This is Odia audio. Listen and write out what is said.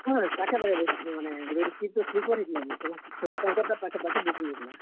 ହଁ, ପାଖେ ପାଖେ ବଇସ୍ ଥିଲୁଁ ମାନେ, ଗୁଟେ ଗୁଟେ seat ତ sleeper ହେଇଥିଲା କିନି ସମସ୍ତେ ସମସ୍ତଙ୍କର୍ ଟା ପାଖେ ପାଖେ booking ହେଇଥିଲା।